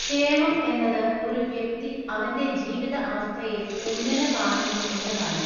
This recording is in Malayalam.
ക്ഷേമം എന്നത് ഒരു വ്യക്തി അവന്റെ ജീവിത അവസ്ഥയെ ഏങ്ങനെ കാണുന്നു എന്നതാണ്.